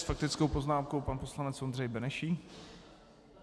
S faktickou poznámkou pan poslanec Ondřej Benešík.